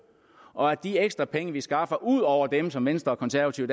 og at de ekstra penge vi skaffer ud over dem som venstre konservative